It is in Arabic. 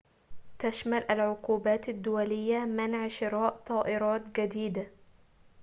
تشمل العقوبات الدولية منع شراء طائرات جديدة